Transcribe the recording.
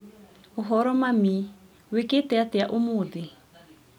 ũhoro mami? Wĩkĩte atĩa ũmũthĩ?